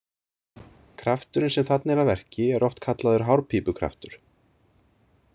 Krafturinn sem þarna er að verki er oft kallaður hárpípukraftur.